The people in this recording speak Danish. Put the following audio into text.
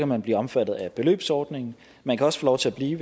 man blive omfattet af beløbsordningen man kan også få lov til at blive